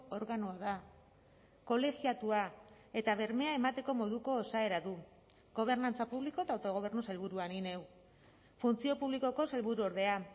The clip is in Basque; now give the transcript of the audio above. organoa da kolegiatua eta bermea emateko moduko osaera du gobernantza publiko eta autogobernu sailburua ni neu funtzio publikoko sailburuordea